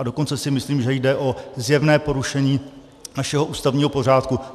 A dokonce si myslím, že jde o zjevné porušení našeho ústavního pořádku.